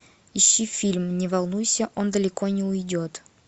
ищи фильм не волнуйся он далеко не уйдет